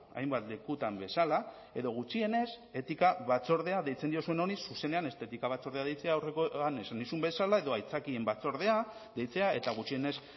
hainbat lekutan bezala edo gutxienez etika batzordea deitzen diozuen honi zuzenean estetika batzordea deitzea aurrekoan esan nizun bezala edo aitzakien batzordea deitzea eta gutxienez